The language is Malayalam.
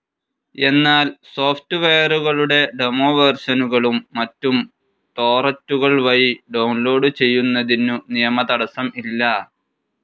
എന്നാൽ സോഫ്റ്റ്‌വെയറുകളുടെ ഡെമോവേർഷനുകളും മറ്റും ടോറന്റുകൾ വഴി ഡൌൺ ലോഡ്‌ ചെയ്യുന്നതിനു നിയമതടസ്സം ഇല്ല.